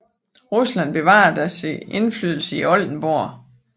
Rusland bevarede dog sin indflydelse i Oldenborg